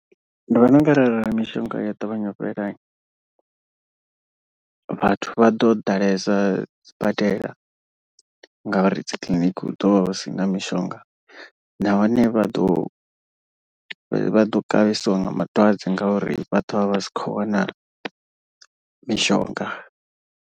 Ndi vhona unga arali mishonga ya ṱavhanya u fhela, vhathu vha do ḓalesa sibadela ngauri dzi kiḽiniki hu ḓo vha hu si na mishonga. Nahone vha ḓo vha ḓo kavhesiwa nga madwadze ngauri vha ḓo vha vha sa khou wana mishonga.